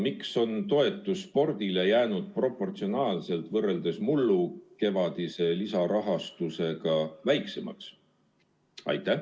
Miks on spordivaldkonnale makstav toetus jäänud mullukevadise lisarahastusega võrreldes proportsionaalselt väiksemaks?